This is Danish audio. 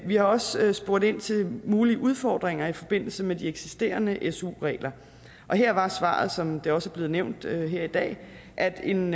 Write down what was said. vi har også spurgt ind til mulige udfordringer i forbindelse med de eksisterende su regler her var svaret som det også er blevet nævnt her i dag at en